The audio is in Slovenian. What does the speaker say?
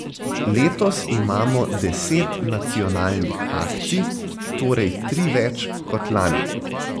Letos imamo deset nacionalnih akcij, torej tri več kot lani.